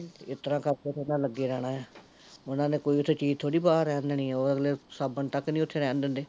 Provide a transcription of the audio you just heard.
ਏਸ ਤਰਾਂ ਕਰਕੇ ਏਹਨਾ ਲੱਗੇ ਰਹਿਣਾ ਐ ਓਹਨਾਂ ਨੇ ਓਥੇ ਕੋਈ ਚੀਜ਼ ਥੋੜੀ ਬਾਹਰ ਰਹਿਣ ਦੇਣੀ, ਓਹ ਅਗਲੇ ਸਾਬਣ ਤਕ ਨੀ ਉੱਥੇ ਰਹਿਣ ਦਿੰਦੇ